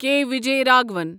کے Vijay Raghavan